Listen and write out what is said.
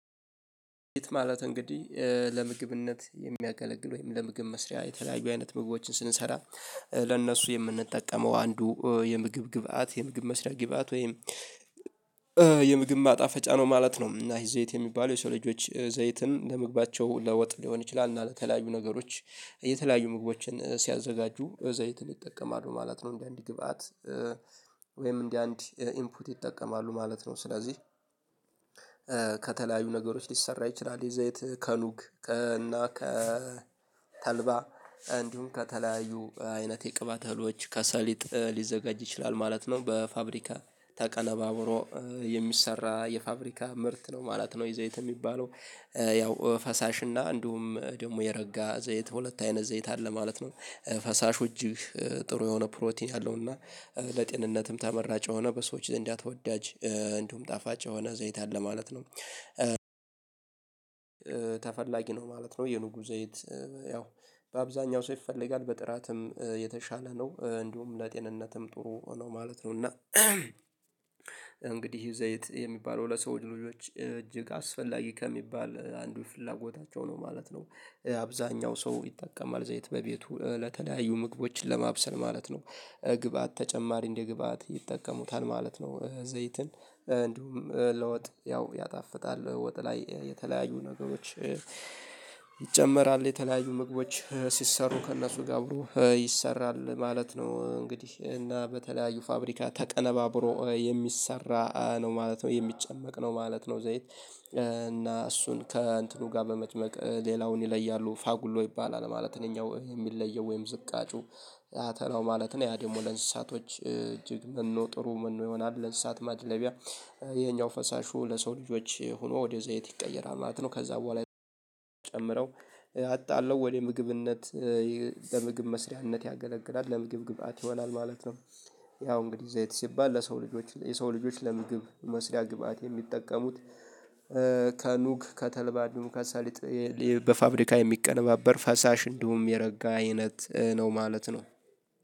ሊጥ ማለት እንግዲህ ለምግብነት የሚያገለግል ወይም ለምግብ መስሪያ የተለያዩ አይነት ምግቦችን ስንሰራ ለእነሱ የምንጠቀመው አንዱ የምግብ ግብአት የምግብ መስሪያ ግብአት ወይም የምግብ ማጣፈጫ ነው ማለት ነው። እና ይሄ ዘይት የሚባሉ የሰው ልጆች ዘይትን ለመግባታቸው ለወጥ ሊሆን ይችላል እና ከላዩ ነገሮች የተለያዩ ምግቦችን ሲያዘጋጁ ዘይትን ይጠቀማሉ ማለት ነው እንደ አንድ ግብአት ወይም እንደ አንድ ኢንፑት ይጠቀማሉ ማለት ነው ስለዚህ ከተለያዩ ነገሮች ሊሰራ ይችላል የዘይት ከኑግ እና ከተልባ እንዲሁም ከተለያዩ አይነት የቅባት እህሎች ከሰሊጥ ሊዘጋጅ ይችላል ማለት ነው በፋብሪካ ተቀለባብሮ የሚሰራ የፋብሪካ ምርት ነው ማለት ነው የዘይት የሚባለው። ያው ፈሳሽ እና እንዲሁም ደግሞ የረጋ ዘይት ሁለት አይነት ዘይት አለ ማለት ነው ፈሳሹ እጅግ ጥሩ የሆነ ፕሮቲን ያለው እና ለጤንነትም ተመራጭ ሆነ በሰዎች እንዳትወዳጅ እንዲሁም ጣፋጭ ሆነ ዘይትን ለማለት ነው ተፈላጊ ነው ማለት ነው የንጉ ዘይት ያው በአብዛኛው ሰው ይፈለጋል፤ በጥራትም የተሻለ ነው እንዲሁም ለጤንነትም ጥሩ ነው ማለት ነው እና እንግዲህ ይሄ ዘይት የሚባለው ለሰው ልጆች እጅግ አስፈላጊ ከሚባል አንዱ ፍላጎታቸው ነው ማለት ነው አብዛኛው ሰው ይጠቀማል ዘይት በቤቱ ለተዳዩ ምግቦችን ለማብሰል ማለት ነው ግባት ተጨማሪ እንደ ግብአት ይጠቀሙታል ማለት ነው ዘይትን እንዲሁም ለውጥ ያው ያጣፍጣል ወጥ ላይ የተለያዩ ነገሮች ይጨመራል የተለያዩ ምግቦች ሲሰሩ ከእነሱ ጋር አብሮ ይሰራል ማለት ነው እንግዲህ እና በተለያዩ ፋብሪካ ተቀነባብሮ የሚሰራ ነው ማለት ነው የሚጨመቅ ነው ማለት ነው ዘይት እና እሱን ከእንትኑ ጋር በመጨመቅ ሌላውን ይለያሉ ፋጉሎ ይባላል ማለት እኛ የሚለየው ወይም ዝቃጩ አተላው ማለት ነው ያ ደግሞ ለእንስሳቶች እጅግ መኖ ጥሩ ምነው ይሆናል ለእሳት ማድለቢያ ነፈይሄኛው ፈሳሹ ለሰው ልጆች ሆኖ ወደ ዘይት ይቀየራል ማለት ነው። ከዛ በኋላ ጨምረው አጣለሁ ወደ ምግብነት ለምግብ መስሪያነት ያገለግላል ለምግብ ግብአት ይሆናል ማለት ነው ያው እንግዲህ ዘይት ሲባል ለሰው ልጆች የሰው ልጆች ለምግብ መስሪያ ግብአት የሚጠቀሙት ከኑግ ከተልባዱም ከሳሊጥ በፋብሪካ የሚቀነባበር ፈሳሽ እንዲሁም የረጋ አይነት ነው ማለት ነው